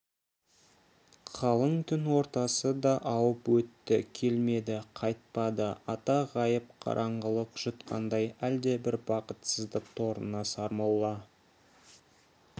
қалың түн ортасы да ауып өтті келмеді қайтпады ата ғайып қараңғылық жұтқандай әлдебір бақытсыздық торына сармолла